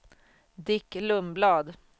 Dick Lundblad